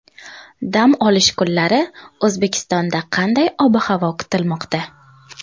Dam olish kunlari O‘zbekistonda qanday ob-havo kutilmoqda?